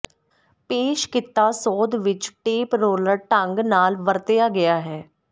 ਪੇਸ਼ ਕੀਤਾ ਸੋਧ ਵਿਚ ਟੇਪ ਰੋਲਰ ਢੰਗ ਨਾਲ ਵਰਤਿਆ ਗਿਆ ਹੈ